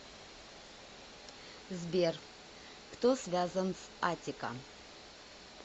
сбер кто связан с аттика